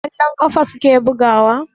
Kwallon ƙafa suke bugawa?